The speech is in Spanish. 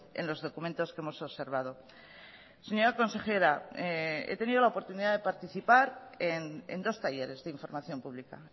en los documentos que hemos observado señora consejera he tenido la oportunidad de participar en dos talleres de información pública